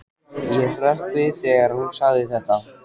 Ég hrökk við þegar hún sagði þetta.